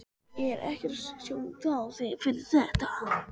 Ég er ekkert að setja út á þig fyrir þetta.